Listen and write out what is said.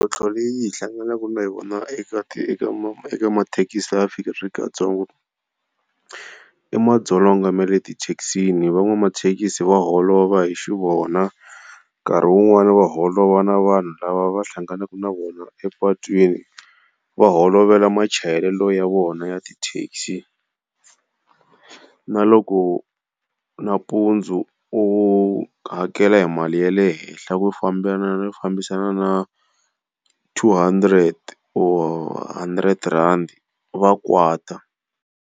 Mintlhotlho leyi hi hlanganaka na yona eka eka mathekisi ya Afrika-Dzonga. I madzolonga ma le tithekisini. Van'wamathekisi va holova hi xi vona, nkarhi wun'wani va holova na vanhu lava va hlanganaka na vona epatwini va holovela machayelelo ya vona ya ti taxi. Na loko nampundzu u hakela hi mali ya le henhla yo fambisana na two hundred or hundred rand va kwata.